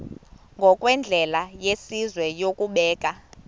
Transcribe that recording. ngokwendlela yesizwe yokubeka